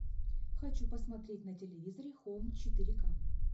хочу посмотреть на телевизоре хоум четыре ка